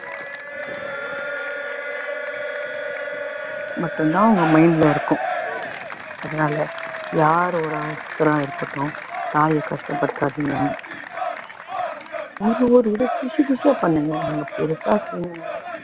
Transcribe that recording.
மட்டும் தான் அவங்க mind ல இருக்கும் அதனால யார் ஒருத்தரா இருக்கட்டும் தாய் கஷ்டப்படுத்தாதிங்க பண்ணுங்க நீங்க பெருசா செய்யறதெல்லாம்